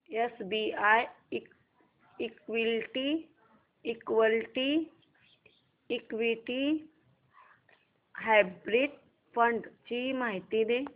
SBI equity hybrid fund ची माहिती दे